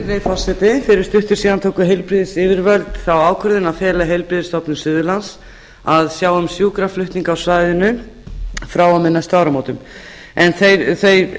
virðulegi forseti fyrir stuttu síðan tóku heilbrigðisyfirvöld þá ákvörðun að fela heilbrigðisstofnun suðurlands að sjá um sjúkraflutninga á svæðinu frá og með næstu áramótum en